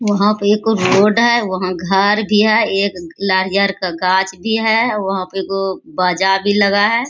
वहाँ पे एक रोड है वहाँ घर भी है एक नारियल का गाछ भी है वहाँ पे एगो बाजा भी लगा है।